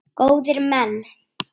Góðir menn!